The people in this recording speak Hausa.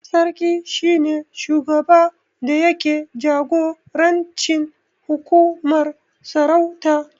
Sarki shi ne shugaba da yake jagorancin hukumar sarauta